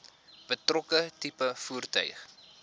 betrokke tipe voertuig